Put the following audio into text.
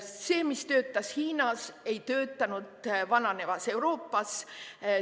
See, mis töötas Hiinas, ei töötanud vananevas Euroopas.